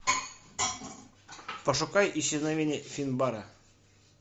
пошукай исчезновение финбара